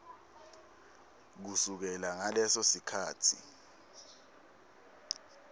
kusukela ngaleso sikhatsi